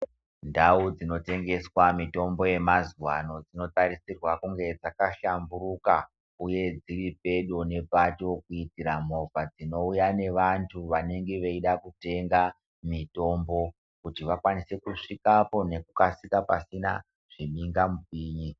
Ndau dzinotengeswa mitombo yemazuva ano dzinosise kunge dzaka hlamburika uye dziri pedo nepato kuitira movha dzinouya nevantu vanenge veida kutenga mitombo kuti vakwanise kusvikapo nekukasika pasina zvimhingamipinyi.